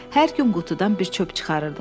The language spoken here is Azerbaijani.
Hər gün qutudan bir çöp çıxarırdım.